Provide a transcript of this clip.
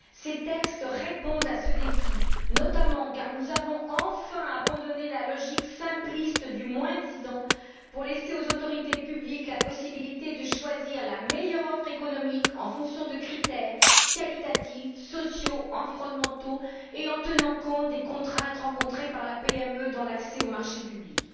Ces textes répondent à ce défi, notamment parce que nous avons enfin abandonné la logique simpliste du moins disant pour laisser aux autorités publiques la possibilité de choisir la meilleure offre économique en fonction de critères qualitatifs, sociaux, environnementaux et en tenant compte des contraintes rencontrées par les PME dans l'accès aux marchés publics.